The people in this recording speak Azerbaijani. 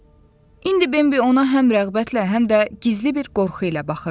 İndi Bambi ona həm rəğbətlə, həm də gizli bir qorxu ilə baxırdı.